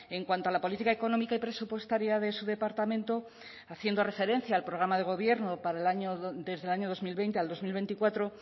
en cuanto a la política económica y presupuestaria de su departamento haciendo referencia al programa de gobierno para el año desde el año dos mil veinte al dos mil veinticuatro